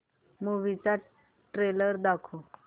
movie चा trailer चालव